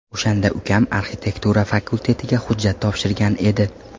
O‘shanda ukam arxitektura fakultetiga hujjat topshirgan edi.